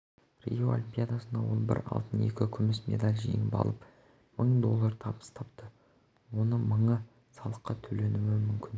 рио олимпиадасында ол бір алтын екі күміс медаль жеңіп алып мың доллар табыс тапты оның мыңы салыққа төленуі мүмкін